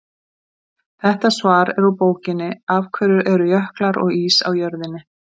Þetta svar er úr bókinni Af hverju eru jöklar og ís á jörðinni?